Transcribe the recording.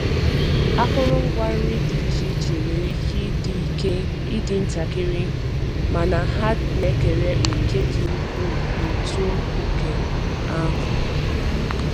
Akụrụngwa nri di iche iche nwere ike ịdị ike ịdị ntakịrị mana ha na-ekere òkè dị ukwuu n’uto nke ahụ